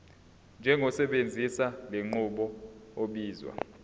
njengosebenzisa lenqubo obizwa